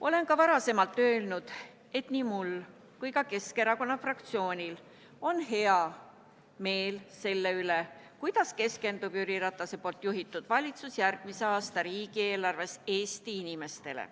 Olen ka varem öelnud, et nii mul kui ka Keskerakonna fraktsioonil on hea meel selle üle, kuidas keskendub Jüri Ratase juhitud valitsus järgmise aasta riigieelarves Eesti inimestele.